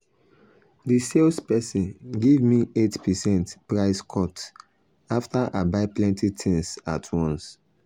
the sales person give me 8 percent price cut after i buy plenty things at once.